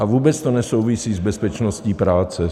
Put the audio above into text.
A vůbec to nesouvisí s bezpečností práce.